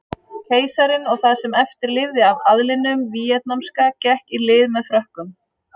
Keisarinn og það sem eftir lifði af aðlinum víetnamska gekk í lið með Frökkum.